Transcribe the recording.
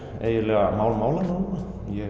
eiginlega mál málanna núna